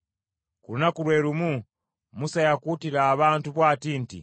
Ku lunaku lwe lumu Musa yakuutira abantu bw’ati nti,